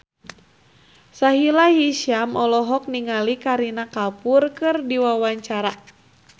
Sahila Hisyam olohok ningali Kareena Kapoor keur diwawancara